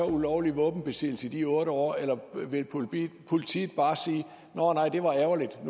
ulovlig våbenbesiddelse i de otte år eller vil politiet bare sige nå nej det var ærgerligt